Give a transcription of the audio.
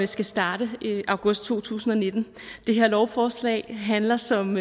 skal starte august to tusind og nitten det her lovforslag handler som